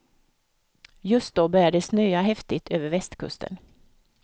Just då började det snöa häftigt över västkusten.